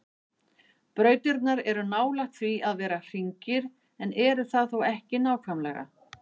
Brautirnar eru nálægt því að vera hringir en eru það þó ekki nákvæmlega.